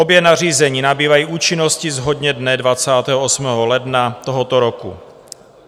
Obě nařízení nabývají účinnosti shodně dne 28. ledna tohoto roku.